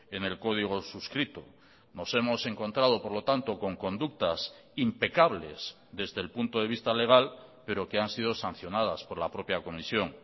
en el código suscrito nos hemos encontrado por lo tanto con conductas impecables desde el punto de vista legal pero que han sido sancionadas por la propia comisión